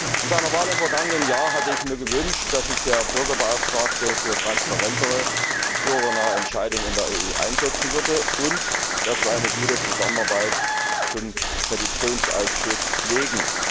Bei seiner Wahl im vergangenen Jahr habe ich mir gewünscht, dass sich der Bürgerbeauftragte für transparentere und bürgernahe Entscheidungen in der EU einsetzt, und dass wir eine gute Zusammenarbeit mit dem Petitionsausschuss pflegen.